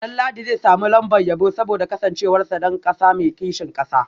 Danladi zai samu lambar yabo saboda kasancewarsa dan kasa mai kishin kasa